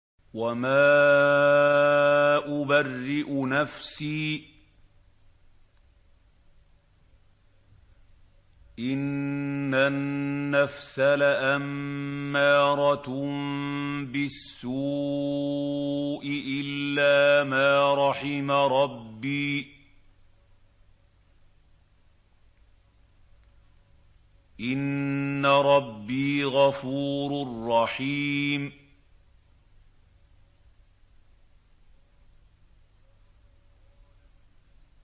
۞ وَمَا أُبَرِّئُ نَفْسِي ۚ إِنَّ النَّفْسَ لَأَمَّارَةٌ بِالسُّوءِ إِلَّا مَا رَحِمَ رَبِّي ۚ إِنَّ رَبِّي غَفُورٌ رَّحِيمٌ